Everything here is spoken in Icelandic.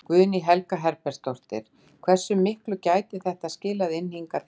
Guðný Helga Herbertsdóttir: Hversu miklu gæti þetta skilað inn hingað til lands?